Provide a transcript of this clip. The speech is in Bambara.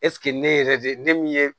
ne yɛrɛ de min ye